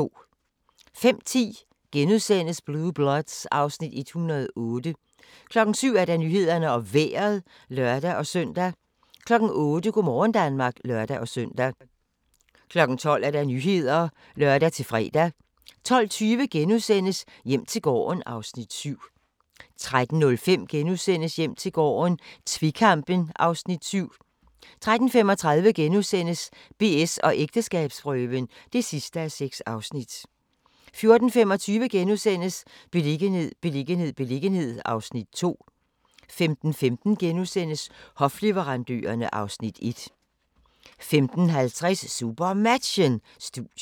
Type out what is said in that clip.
05:10: Blue Bloods (Afs. 108)* 07:00: Nyhederne og Vejret (lør-søn) 08:00: Go' morgen Danmark (lør-søn) 12:00: Nyhederne (lør-fre) 12:20: Hjem til gården (Afs. 7)* 13:05: Hjem til gården - tvekampen (Afs. 7)* 13:35: BS & ægteskabsprøven (6:6)* 14:25: Beliggenhed, beliggenhed, beliggenhed (Afs. 2)* 15:15: Hofleverandørerne (Afs. 1)* 15:50: SuperMatchen: Studiet